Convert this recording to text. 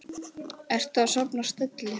Ertu að safna stelli?